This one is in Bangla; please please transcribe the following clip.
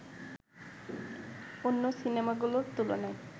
অন্য সিনেমাগুলোর তুলনায়